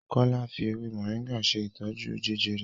Kola fí ewé Moringa ṣe ìtọjú Jejere.